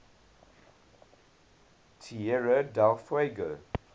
tierra del fuego